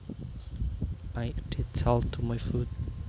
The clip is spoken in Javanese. I added salt to my food